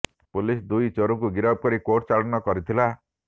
police ଦୁଇ ଚୋରଙ୍କୁ ଗିରଫ କରି କୋର୍ଟ ଚାଲାଣ କରିଥିଲା